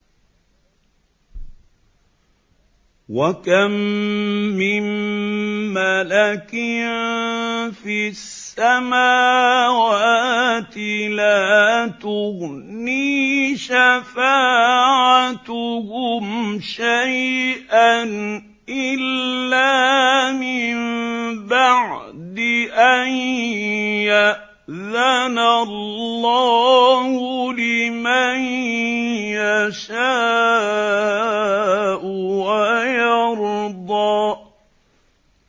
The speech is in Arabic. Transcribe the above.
۞ وَكَم مِّن مَّلَكٍ فِي السَّمَاوَاتِ لَا تُغْنِي شَفَاعَتُهُمْ شَيْئًا إِلَّا مِن بَعْدِ أَن يَأْذَنَ اللَّهُ لِمَن يَشَاءُ وَيَرْضَىٰ